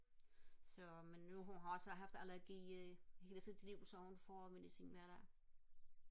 så men nu hun har også haft allergi i hele sit liv så hun får medicin hver dag